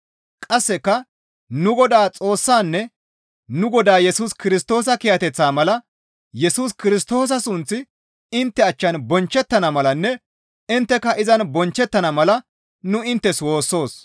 Qasseka nu Godaa Xoossaanne nu Godaa Yesus Kirstoosa kiyateththaa mala Yesus Kirstoosa sunththi intte achchan bonchchettana malanne intteka izan bonchchettana mala nu inttes woossoos.